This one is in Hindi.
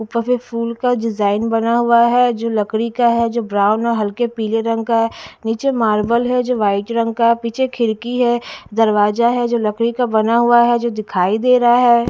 ऊपर भी फूल का डिजाइन बना हुआ है जो लकड़ी का है जो ब्राउन और हल्के पीले रंग का है नीचे मार्बल है जो वाइट रंग का है पीछे खिड़की है दरवाजा है जो लकड़ी का बना हुआ है जो दिखाई दे रहा है।